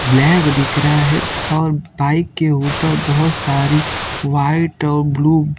bag दिख रहा है और बाइक के ऊपर बहोत सारी व्हाइट और ब्लू --